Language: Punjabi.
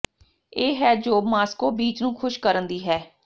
ਇਹ ਹੈ ਜੋ ਮਾਸ੍ਕੋ ਬੀਚ ਨੂੰ ਖੁਸ਼ ਕਰਨ ਦੀ ਹੈ